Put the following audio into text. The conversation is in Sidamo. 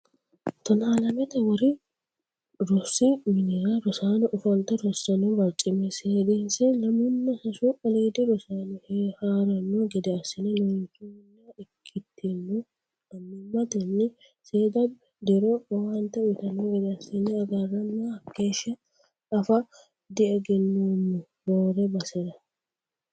Tonna lamete wori rosi minnara rosaano ofolte rosano barcima seedinse lamunna sasu aliidi rosaano haarano gede assine loonsanni ikkitono annimatenni seeda diro owaante uyittano gede assine agarranna hakeeshsha afe diegenoommo roore basera.